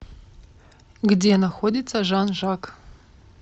где находится жан жак